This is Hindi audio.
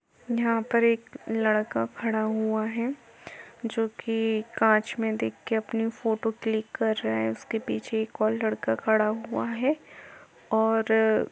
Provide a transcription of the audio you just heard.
यहाॅं पर एक लड़का खड़ा हुआ है जो कि कांच में देख के अपनी फोटो क्लिक कर रहा है उसके पीछे एक और लड़का खड़ा हुआ है और --